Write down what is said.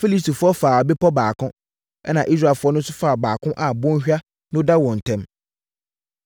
Filistifoɔ faa bepɔ baako, ɛna Israelfoɔ no nso faa baako a bɔnhwa no da wɔn ntam.